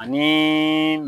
Ani